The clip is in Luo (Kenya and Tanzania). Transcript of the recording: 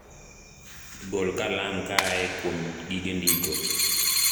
gol kalam kaae kwom gige ndiko